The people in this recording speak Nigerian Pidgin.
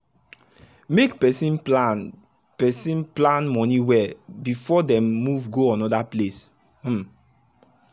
make person plan person plan money well before dem move go another place. um